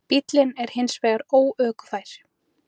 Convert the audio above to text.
Bíllinn er hins vegar óökufær.